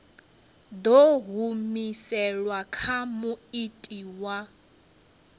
ḓo humiselwa kha muiti wa